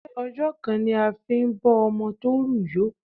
Ṣé ọjọ́ kan la fi ń bọ́ ọmọ tó rù yó?